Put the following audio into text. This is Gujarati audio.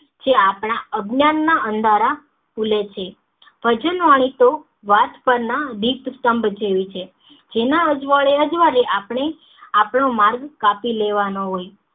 જે આપણા અવજ્ઞાન ના અંધારા ખુલે છે ભજનવાણી તો વાંસ પર ના ગીત સ્તંભ જેવી છે જેના અજવાળે આપડે આપડો માર્ગ કાપી લેવાનો હોય